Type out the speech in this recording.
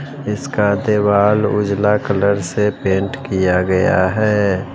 इसका देवाल उजला कलर से पेंट किया गया है।